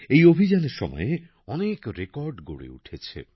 এই অভিযানের সময়ে অনেক রেকর্ড গড়ে উঠেছে